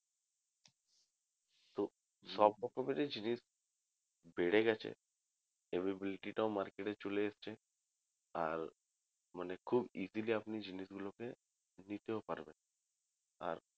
সব রকমের জিনিস বেড়ে গেছে availability টাও market এ চলে এসছে আর মানে খুব easily আপনি জিনিসগুলোকে নিতেও পারবেন আর